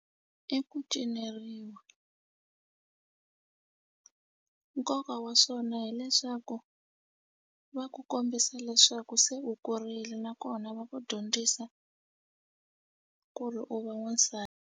I ku cineriwa nkoka wa swona hileswaku va ku kombisa leswaku se u kurile nakona va ku dyondzisa ku ri u va wansati.